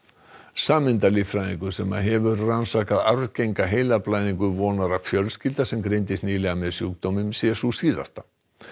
sameindalíffræðingur sem hefur rannsakað arfgenga heilablæðingu vonar að fjölskylda sem greindist nýlega með sjúkdóminn sé sú síðasta